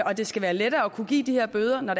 og at det skal være lettere at kunne give de her bøder når